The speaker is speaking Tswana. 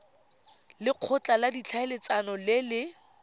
lekgotla la ditlhaeletsano le le